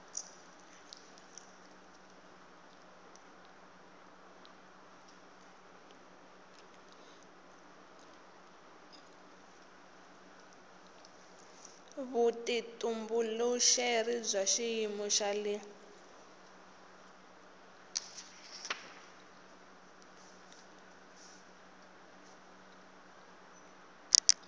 vutitumbuluxeri bya xiyimo xa le